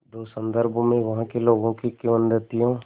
दो संदर्भों में वहाँ के लोगों की किंवदंतियों